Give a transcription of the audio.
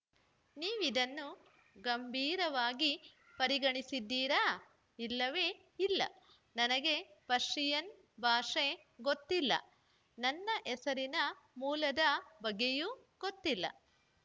ನೀವಿದನ್ನು ಗಂಭೀರವಾಗಿ ಪರಿಗಣಿಸಿದ್ದೀರಾ ಇಲ್ಲವೇ ಇಲ್ಲ ನನಗೆ ಪರ್ಷಿಯನ್‌ ಭಾಷೆ ಗೊತ್ತಿಲ್ಲ ನನ್ನ ಹೆಸರಿನ ಮೂಲದ ಬಗ್ಗೆಯೂ ಗೊತ್ತಿಲ್ಲ